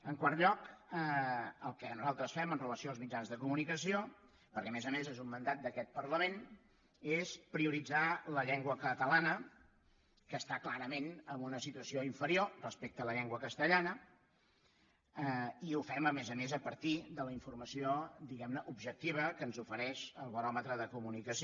en quart lloc el que nosaltres fem amb relació als mitjans de comunicació perquè a més a més és un mandat d’aquest parlament és prioritzar la llengua catalana que està clarament en una situació inferi·or respecte a la llengua castellana i ho fem a més a més a partir de la informació diguem·ne objectiva que ens ofereix el baròmetre de la comunicació